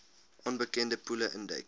onbekende poele induik